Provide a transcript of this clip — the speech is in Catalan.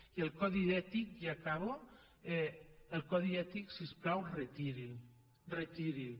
i el codi ètic ja acabo el codi ètic si us plau retiri’l retiri’l